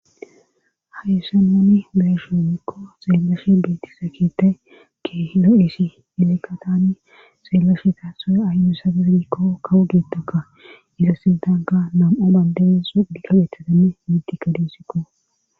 hayyssa nuni beyishn woyko xeelishinin beetizayso kehi lo7esi hilekatani xeellashe taaxoe ah misafefdikko kawu geettoka iza sintanga nam7o bandere sudkabetatenne mitikka diissiko